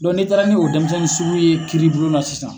n'i taara n'o dɛnmisɛnnin sugu ye kiiribulon na sisan